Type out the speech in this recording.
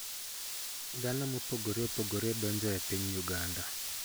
Dhano mopogore opogore donjo e piny Uganda.